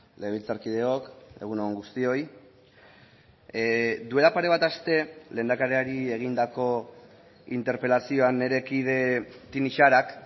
legebiltzarkideok egun on guztioi duela pare bat aste lehendakariari egindako interpelazioan nire kide tinixarak